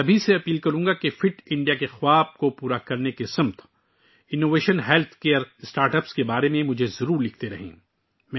میں آپ سب سے گزارش کروں گا کہ فٹ انڈیا کے خواب کو پورا کرنے کے لیے صحت کی دیکھ بھال کے اختراعی آغاز کے بارے میں مجھے لکھتے رہیں